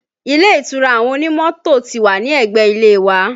Ilé ìtura àwọn onímọ́tò ti wà ní ẹgbẹ́ ilé wa